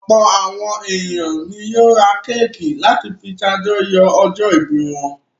Ọ̀pọ̀ àwọn ènìyàn ni yóò ra kéékì láti fi ṣàjọyọ̀ ọjọ́-ìbí wọn.